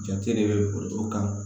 Jate de bɛ foroto kan